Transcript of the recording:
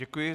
Děkuji.